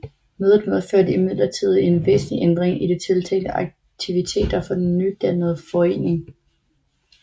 Mødet medførte imidlertid en væsentlig ændring i de tiltænkte aktiviteter for den nydannede forening